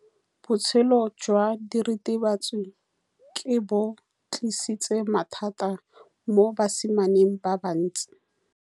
Botshelo jwa diritibatsi ke bo tlisitse mathata mo basimaneng ba bantsi.